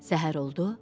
Səhər oldu.